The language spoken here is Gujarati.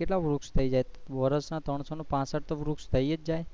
કેટલા વૃક્ષ થઇ જાય વર્ષ ના ત્રણસો ને પસાઠ તો વૃક્ષ તો થઇ જ જાય ને.